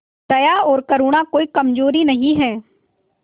दया और करुणा कोई कमजोरी नहीं है